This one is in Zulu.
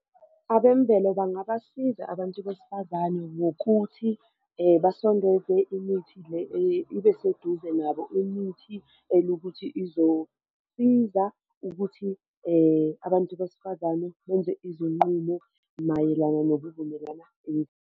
Abemvelo bangabasiza abantu besifazane ngokuthi basondeze imithi le ibe seduze nabo imithi elokuthi izosiza ukuthi abantu besifazane benze izinqumo mayelana nokuvumelana .